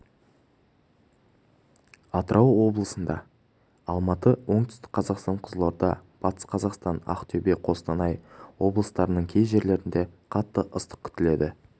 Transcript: атырау облысында алматы оңтүстік қазақстан қызылорда батыс қазақстан ақтөбе қостанай облыстарының кей жерлерінде қатты ыстық күтіледі